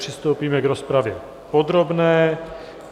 Přistoupíme k rozpravě podrobné.